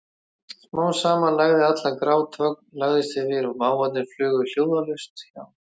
Smám saman lægði allan grát, þögn lagðist yfir og máfarnir flugu hljóðalaust hjá.